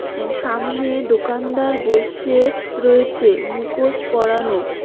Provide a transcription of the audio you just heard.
এ সামনে দোকানদার বসে রয়েছে মুখোশ পরানো।